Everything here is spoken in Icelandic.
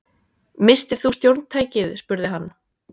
Misstir þú stjórntækið spurði hann.